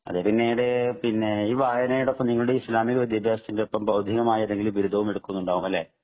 പിന്നെ ഈ വായനയോടൊപ്പം നിങ്ങൾ ഇസ്ലാമിക വിദ്യാഭ്യാസത്തിനൊപ്പം ഭൗതികമായ ബിരുദവും എടുക്കുന്നുണ്ടാവും അല്ലെ